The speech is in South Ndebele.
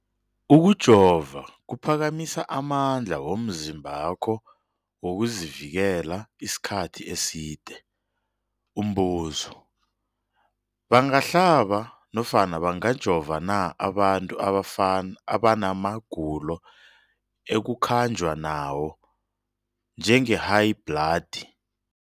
Ukujova kuphakamisa amandla womzimbakho wokuzivikela isikhathi eside. Umbuzo, bangahlaba nofana bangajova na abantu abana magulo ekukhanjwa nawo, njengehayibhladi?